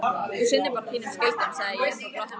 Þú sinnir bara þínum skyldum, segði ég þá glottandi.